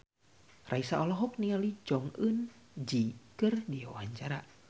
Raisa olohok ningali Jong Eun Ji keur diwawancara